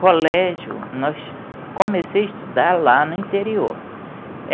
Colégio, nós, comecei a estudar lá no interior.